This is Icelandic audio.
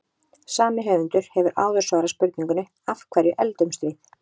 Sami höfundur hefur áður svarað spurningunni Af hverju eldumst við?